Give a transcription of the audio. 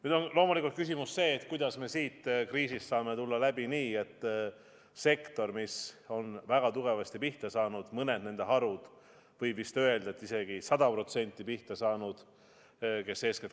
Nüüd on loomulikult küsimus, kuidas me sellest kriisist saame tulla läbi nii, et sektor, mis on väga tugevasti pihta saanud, eriti harud, mis eeskätt korraldavad reise Eestist välja ja on vist isegi 100% pihta saanud, ellu jääks.